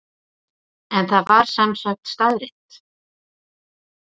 En það var sem sagt staðreynd?